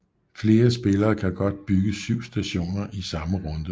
Flere spillere kan godt bygge syv stationer i samme runde